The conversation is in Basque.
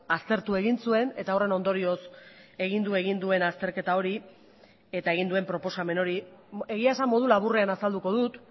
aztertu egin zuen eta horren ondorioz egin du egin duen azterketa hori eta egin duen proposamen hori egia esan modu laburrean azalduko dut